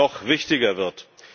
noch wichtiger wird.